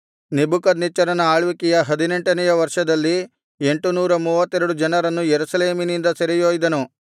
ನೆಬೂಕದ್ನೆಚ್ಚರನ ಆಳ್ವಿಕೆಯ ಹದಿನೆಂಟನೆಯ ವರ್ಷದಲ್ಲಿ ಎಂಟುನೂರ ಮೂವತ್ತೆರಡು ಜನರನ್ನು ಯೆರೂಸಲೇಮಿನಿಂದ ಸೆರೆಯೊಯ್ದನು